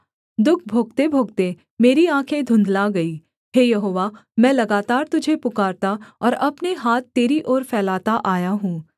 दुःख भोगतेभोगते मेरी आँखें धुँधला गई हे यहोवा मैं लगातार तुझे पुकारता और अपने हाथ तेरी ओर फैलाता आया हूँ